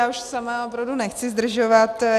Já už sama opravdu nechci zdržovat.